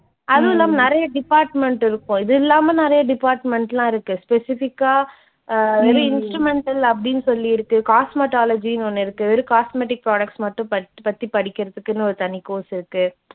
அதுவுமில்லாம நிறைய department இருக்கும். இதில்லாம நிறைய department எல்லாம் இருக்கு. specific ஆ அஹ் வெறும் instrumental அப்படின்னு சொல்லி இருக்கு, cosmetology ன்னு ஒன்னு இருக்கு, வெறும் cosmetic products மட்டும் பத் பத்தி படிக்கிறதுக்குன்னு ஒரு தனி course இருக்கு.